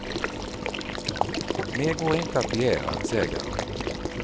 Mer går inte att begära, säger han.